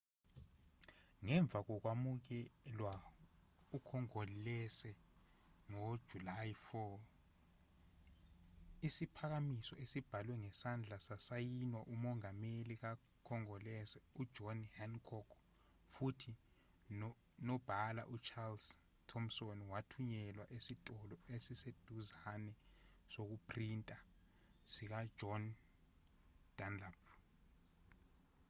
ngemva kokwamukelwa ukhongolose ngojulayi 4 isiphakamiso esibhalwe ngesandla sasayinwa umongameli kakhongolose ujohn hancock futhi nonobhala ucharles thompson wathunyelwa esitolo esiseduzane sokuphrinta sikajohn dunlap